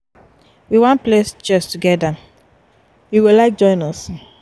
we wan play chess togeda you go like join us?